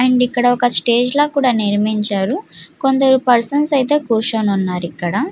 And అక్కడ ఒక stage అయితే నిర్మించారు. కొందరు పర్సన్స్ అయితే కురుచొని వున్నారు ఇక్కడ.